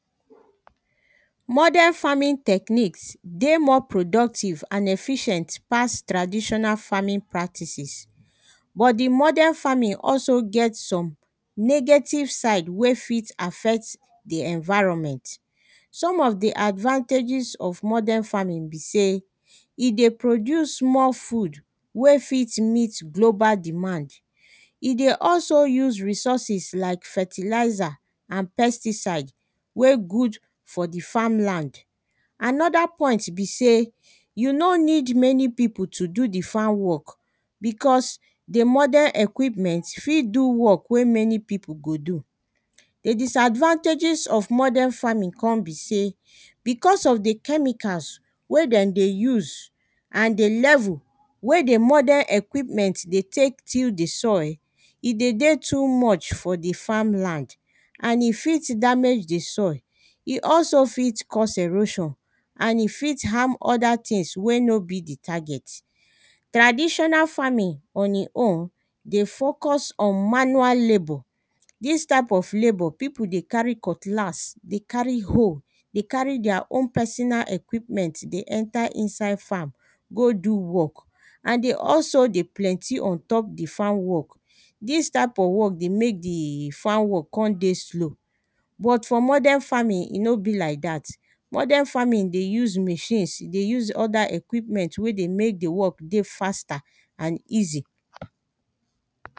Modern farming technique dey more productive and efficient pass traditional farming practices but, di modern farming also get some negative side wey fit affect di environment. Some of di advantages of modern farming be sey e dey produce more food wey fit meet global demand, e dey also use resources like fertilizer and pesticide wey good for di farmland another point be sey you no need many pipo to do di farm work becos di modern equipment fit do work wey many pipo go do. The disadvantages of modern farming come be sey becos of di chemical wey dem dey use and di level wey di modern equipment dey tek till di soil e dey dey too much for di farmland and e fit damage di soil, e also fit cause erosion and e fit harm other things wey no be di target. Traditional farming on e own dey focus on manual labour, dis type of labour pipo dey carry cutlass, dey carry hoe, dey carry deir own personal equipment dey enter inside farm go do work and dey also dey plenty on top di farm work. Dis type of work dey mek di farm work come dey slow but for modern farming e no be like dat. Modern farming dey use machines, dey use other equipment wen dey mek di work dey faster and easy